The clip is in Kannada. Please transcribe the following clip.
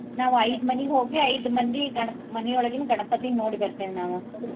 ನಾವ್ ಐದ್ ಮನಿಗ್ ಹೋಗಿ ಐದ್ ಮಂದಿ ಗಣಪ್~ ಮನಿಯೊಳಗಿನ ಗಣಪತಿನ್ ನೋಡಿ ಬರ್ತೆವ್ ನಾವು.